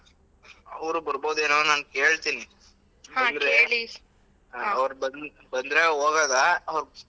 ಅವ್ರು ಬರ್ಬೋದೇನೋ ನಾನ್ ಕೇಳ್ತೀನಿ ಅವ್ರು ಬಂ~ ಬಂದ್ರೆ ಹೋಗೋದಾ .